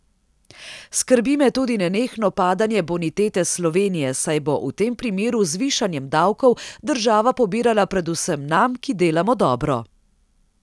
Skrbi me tudi nenehno padanje bonitete Slovenije, saj bo v tem primeru z višanjem davkov država pobirala predvsem nam, ki delamo dobro.